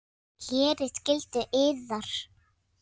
Gerið skyldu yðar!